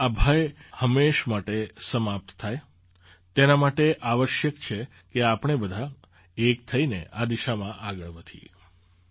આવાં આ ભય હંમેશ માટે સમાપ્ત થાય તેના માટે આવશ્યક છે કે આપણે બધાં એક થઈને આ દિશાં આગળ વધીએ